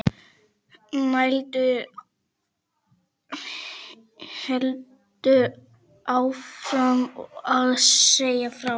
Sæunn heldur áfram að segja frá.